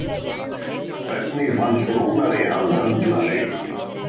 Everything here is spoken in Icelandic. Hvernig fannst Rúnari hann höndla leikinn?